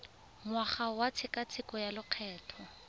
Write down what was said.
ngwaga wa tshekatsheko ya lokgetho